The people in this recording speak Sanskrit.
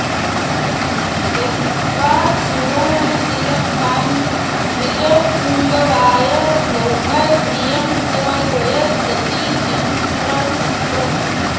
दत्त्वा सुवर्णतिलकां द्विजपुङ्गवाय लोकोदयं स जयतीति किमत्र चित्रम्